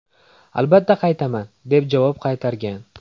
Albatta qaytaman!” deb javob qaytargan.